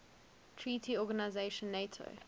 treaty organisation nato